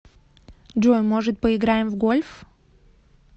джой может поиграем в гольф